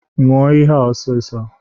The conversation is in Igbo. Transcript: Ñua ihe a ọsịsọ!